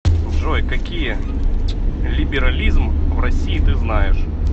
джой какие либерализм в россии ты знаешь